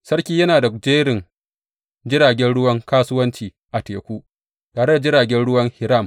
Sarki yana da jerin jiragen ruwan kasuwanci a teku, tare da jiragen ruwan Hiram.